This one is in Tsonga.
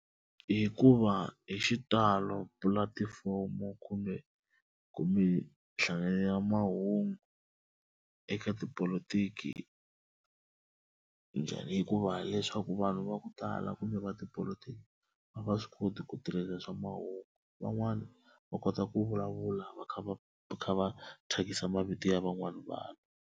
Hikuva hi xitalo pulatifomo kumbe kumbe nhlayo ya mahungu eka tipolotiki njhani hikuva leswaku vanhu va ku tala kumbe va tipolotiki a va swi koti ku tirhela swa mahungu van'wana va kota ku vulavula va kha va kha va thyakisa mavito ya van'wana vanhu.